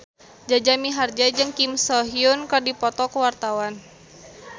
Jaja Mihardja jeung Kim So Hyun keur dipoto ku wartawan